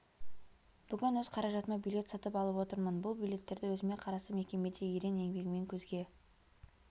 бүгін өз қаражатыма билет сатып алып отырмын бұл билеттерді өзіме қарасты мекемеде ерен еңбегімен көзге